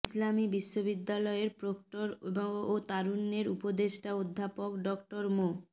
ইসলামী বিশ্ববিদ্যালয়ের প্রক্টর ও তারুণ্যের উপদেষ্টা অধ্যাপক ডক্টর মো